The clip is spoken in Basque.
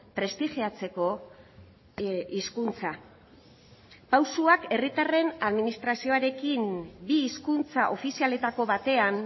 prestigiatzeko hizkuntza pausuak herritarren administrazioarekin bi hizkuntza ofizialetako batean